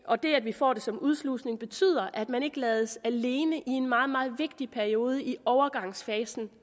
og det at vi får det som udslusning betyder at man ikke lades alene i en meget meget vigtig periode i overgangsfasen